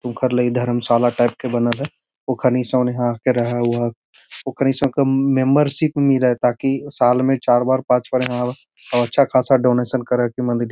उकर ला इ धरमशाला टाइप के बनल है औखनि सोने यहाँ के रहा-वहा औखनि सब के मेम्बरशिप मिले ताकि साल में चार बार पांच बार यहाँ आवा और अच्छा खासा डोनेशन करा के --